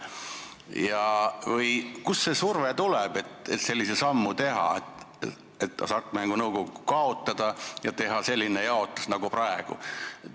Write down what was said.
Ja kust tuleb see surve teha selline samm ja Hasartmängumaksu Nõukogu kaotada ning teha selline jaotus, nagu praegu ette pannakse?